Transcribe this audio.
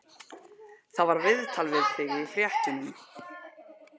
Það var viðtal við þig í fréttunum.